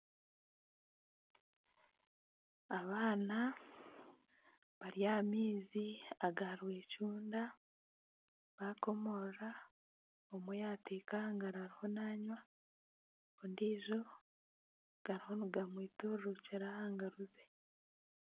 Abaana bari aha maizi aga rwecunda bakomorora omwe yateeka ahangaro ariho nanwa. Ondijo gariho niga mwiturukira aha ngaro ze.